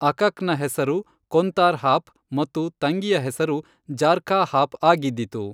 ಅಕಕ್ನ ಹೆಸರು ಕೊಂತಾರ್ ಹಾಪ್ ಮತ್ತು ತಂಗಿಯ ಹೆಸರು ಜಾರ್ಖ ಹಾಪ್ ಆಗಿದ್ದಿತು